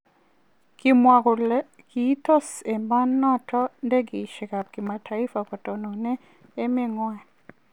Kimwa kole kiitonosi emonoton ndegeisiek ab kimataifa kotononen emenyan.